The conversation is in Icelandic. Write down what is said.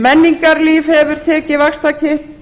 menningarlíf hefur tekið vaxtarkipp